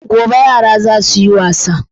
Gobe yara ra za su yi wasa.